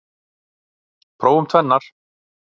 Prófum tvennar.